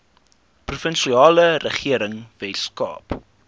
provinsiale regering weskaap